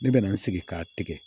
Ne bɛ na n sigi k'a tigɛ